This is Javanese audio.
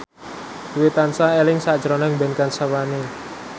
Dwi tansah eling sakjroning Ben Kasyafani